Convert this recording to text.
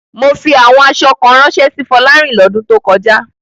Mo fi àwọn aṣọ kan ránṣẹ́ sí Fọlárìn lọ́dún tó kọjá.